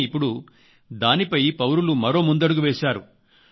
కానీ ఇప్పడు దానిపై పౌరులు మరో ముందడుగు వేశారు